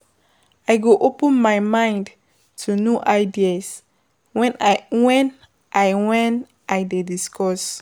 I go open my mind to new ideas when I when Iwhen I dey discuss.